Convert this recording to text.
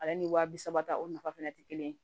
Ale ni wa bi saba ta o nafa fana tɛ kelen ye